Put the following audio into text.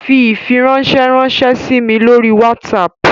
Fi ifiranṣẹ ranṣẹ si mi lori Whatsapp